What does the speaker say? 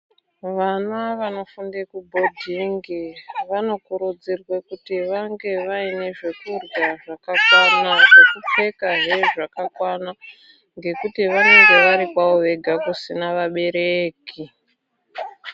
Vana vanofunde kubhodhingi vanokurudzirwa kuti vange vaine vekurya zvakakwana, zvakupfekahe zvakakwana ngekuti vanenge vari kwavo vega kusina vabereki.